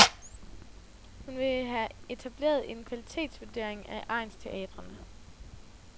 Hun vil have etableret en kvalitetsvurdering af egnsteatrene.